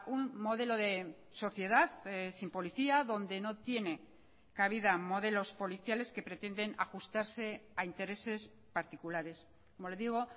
un modelo de sociedad sin policía donde no tiene cabida modelos policiales que pretenden ajustarse a intereses particulares como le digo